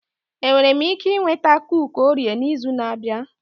Enwere m ike ịnweta kuki Orio n'izu na-abịa?